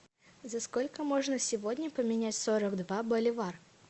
за сколько можно сегодня поменять сорок два боливар